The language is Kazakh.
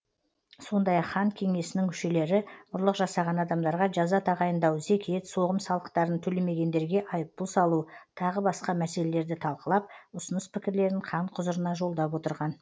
сондай ақ хан кеңесінің мүшелері ұрлық жасаған адамдарға жаза тағайындау зекет соғым салықтарын төлемегендерге айыппұл салу тағы басқа мәселелерді талқылап ұсыныс пікірлерін хан құзырына жолдап отырған